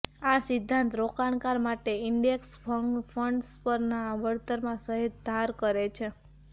આ સિદ્ધાંત રોકાણકાર માટે ઈન્ડેક્સ ફંડ્સ પરના વળતરમાં સહેજ ધાર કરે છે